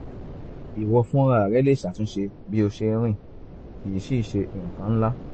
ìwọ fúnra rẹ lè ṣàtúnṣe bí o ṣe ń rìn kìí sìí ṣe nǹkan ńlá